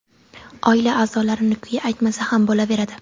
Oila a’zolarini-ku aytmasa ham bo‘laveradi.